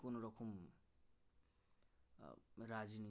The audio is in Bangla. রাজনী